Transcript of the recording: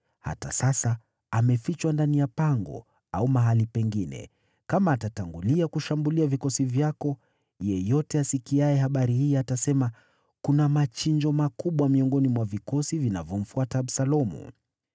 Hata sasa, amefichwa ndani ya pango au mahali pengine. Kama atatangulia kushambulia vikosi vyako, yeyote asikiaye habari hii atasema, ‘Kuna machinjo makubwa miongoni mwa vikosi vinavyomfuata Absalomu.’